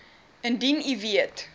indien u weet